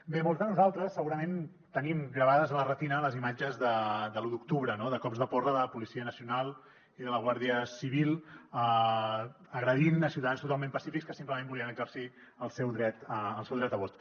bé molts de nosaltres segurament tenim gravades a la retina les imatges de l’u d’octubre de cops de porra de la policia nacional i de la guàrdia civil agredint a ciutadans totalment pacífics que simplement volien exercir el seu dret de vot